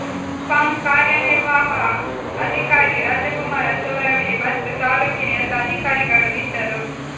ಪಂ ಕಾರ್ಯನಿರ್ವಾಹ ಅಧಿಕಾರಿ ರಾಜಕುಮಾರ ತೊರವಿ ಮತ್ತು ತಾಲೂಕಿನ ಎಲ್ಲ ಅಧಿಕಾರಿಗಳು ಇದ್ದರು